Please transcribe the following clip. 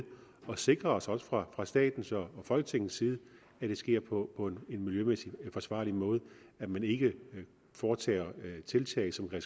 og sikre os også fra statens og folketingets side at det sker på en miljømæssigt forsvarlig måde og at man ikke foretager tiltag som kan